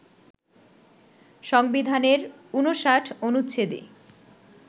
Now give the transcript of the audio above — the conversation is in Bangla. সংবিধানের ৫৯ অনুচ্ছেদে